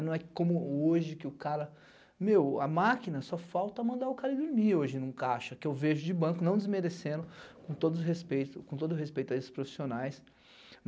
Não é como hoje que o cara... Meu, a máquina só falta mandar o cara dormir hoje num caixa, que eu vejo de banco, não desmerecendo, com todo o respeito a esses profissionais.